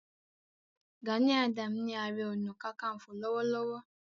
Gani Adams ni Aare Ona Kakanfo lọ́wọ́lọ́wọ́